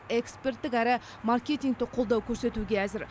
эксперттік әрі маркетинтік қолдау көрсетуге әзір